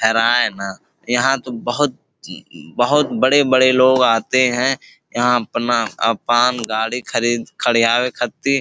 यहां तो बहुत बहुत बड़े-बड़े लोग आते हैं| यहां आपन आपन गाड़ी खड़ी खड़ियावे खातिर।